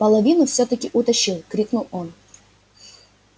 половину всё таки утащил крикнул он